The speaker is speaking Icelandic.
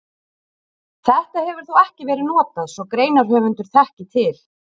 Þetta hefur þó ekki verið notað svo greinarhöfundur þekki til.